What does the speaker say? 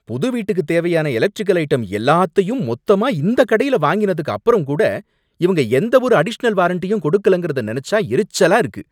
புது வீட்டுக்குத் தேவையான எலக்ட்ரிக்கல் ஐட்டம் எல்லாத்தையும் மொத்தமா இந்தக் கடையில வாங்கினதுக்கு அப்பறம் கூட இவங்க எந்த ஒரு அடிஷனல் வாரண்டியும் கொடுக்கலங்கறத நெனச்சா எரிச்சலா இருக்கு.